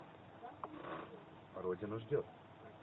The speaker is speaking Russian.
родина ждет